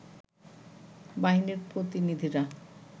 বাহিনীর প্রতিনিধিরা